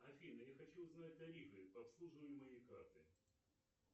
афина я хочу узнать тарифы по обслуживанию моей карты